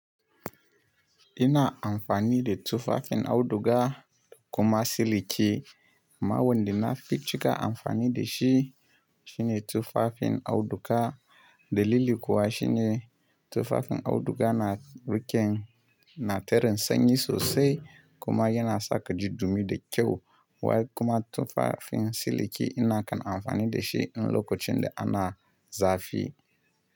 Ina amfani da tufafin auduga kuma siliki. Mawon de na fi cika amfani da shi shine tufafin auduga. Dalili kuwa shine tufafin auduga na rike na terin sanyi sosai kuma yana sa ka ji dumi da kyau. Wai kuma tufafin siliki ina kan amfani da shi in lokacin da ana zafi.